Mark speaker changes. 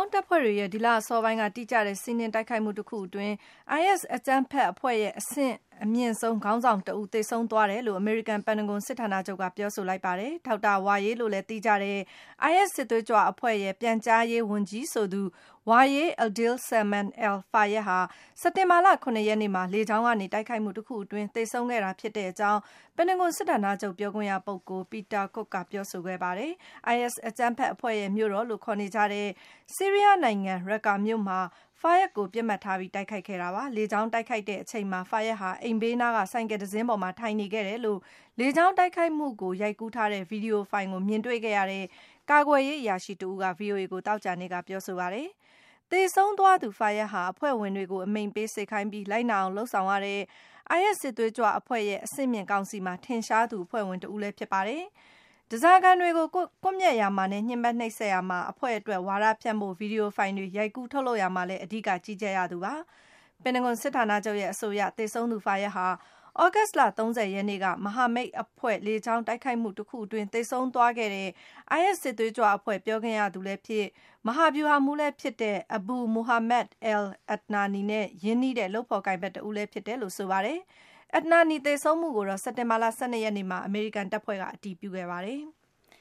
Speaker 1: င်းတပ်ဖွဲ့တွေရဲ့ ဒီလအစောပိုင်းက တိကျတဲ့ စီးနင်းတိုက်ခိုက်မှု တခုအတွင်း IS အကြမ်းဖက်အဖွဲ့ရဲ့ အဆင့်အမြင့်ဆုံး ခေါင်းဆောင်တဦး သေဆုံးသွားတယ်လို့ အမေရိကန် ပင်တဂွန်စစ်ဌာနချုပ်က ပြောဆိုလိုက်ပါတယ်။ Dr. Wa’il လို့လည်း သိကြတဲ့ IS စစ်သွေးကြွအဖွဲ့ရဲ့ ပြန်ကြားရေးဝန်ကြီး Wa’il Adil Salman al-Fayad ကို စက်တင်ဘာလ ၇ ရက်နေ့မှာ လေကြောင်းကနေ တိုက်ခိုက်မှုတခု အတွင်း သေဆုံးခဲ့တာဖြစ်တဲ့အကြောင်း ပင်တဂွန် စစ်ဌာနချုပ် ပြောခွင့်ရပုဂ္ဂိုလ် Peter Cook ကပြောဆိုခဲ့တာပါ။ IS အကြမ်းဖက်အဖွဲ့ရဲ့ မြို့တော်လို့ ခေါ်နေကြတဲ့ ဆီးရီးယားနိုင်ငံ Raqqa မြို့မှာ Fayad ကို ပစ်မှတ်ထား တိုက်ခိုက်ခဲ့တာပါ။ လေကြောင်းတိုက်ခိုက်တဲ့ အချိန်မှာ - အိမ်ဘေးနားက ဆိုင်ကယ်လ်တစင်းပေါ်မှာ ထိုင်နေခဲ့တယ်လို့ - လေကြောင်း တိုက်ခိုက်မှုကို ရိုက်ကူးထားတဲ့ ဗွီဒီယိုဖိုင်ကို မြင်တွေ့ခဲ့ရတဲ့ ကာကွယ်ရေး အရာရှိတဦးက ဗွီအိုအေကို သောကြာနေ့က ပြောဆိုခဲ့ပါတယ်။ သေဆုံးသွားသူ Fayad ဟာ - အဖွဲ့ဝင်တွေကို အမိန့်ပေးစေခိုင်းပြီး၊ လိုက်နာအောင် လုပ်ဆောင်ရတဲ့ - IS စစ်သွေးကြွအဖွဲ့ရဲ့ အဆင့်မြင့် ကောင်စီမှာ ထင်ရှားသူ အဖွဲ့ဝင်တဦးလည်း ဖြစ်ခဲ့ပါတယ်။ ဓားစာခံတွေကို ကွပ်မျက်ရာမှာနဲ့ ညှဉ်းပမ်းနှိပ်စက်ရာမှာ အဖွဲ့အတွက် ဝါဒဖြန့်ဖို့ ဗွီဒီယိုဖိုင်တွေ ရိုက်ကူးထုတ်လုပ်ရာမှာလည်း အဓိက ကြီးကြပ်ရသူဖြစ်ပါတယ်။ ပင်တဂွန်စစ်ဌာနချုပ်ရဲ့အဆိုအရ - သေဆုံးသူ Fayad ဟာ - သြဂုတ်လ ၃၀ ရက်နေ့က မဟာမိတ်အဖွဲ့ လေကြောင်းတိုက်ခိုက်မှုအတွင်း သေဆုံးသွားခဲ့တဲ့ - IS စစ်သွေးကြွအဖွဲ့ ပြောခွင့်ရသူလည်းဖြစ်၊ မဟာဗျူဟာမှူးလည်းဖြစ်တဲ့ Abu Muhammad al-Adnani နဲ့ ရင်းနှီးတဲ့ လုပ်ဖော်ကိုင်ဘက် တဦးဖြစ်တယ်လို့ ဆိုပါတယ်။ Adnani သေဆုံးမှုကိုတော့ စက်တင်ဘာလ ၁၂ ရက်နေ့မှာ အမေရိကန်တပ်ဖွဲ့က အတည်ပြုခဲ့ပါတယ်။